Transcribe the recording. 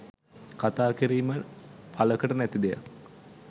කතා කිරීම පළකට නැති දෙයක්.